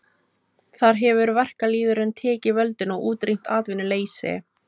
Þar hefur verkalýðurinn tekið völdin og útrýmt atvinnuleysi.